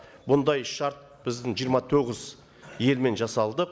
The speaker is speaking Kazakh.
бұндай шарт біздің жиырма тоғыз елмен жасалды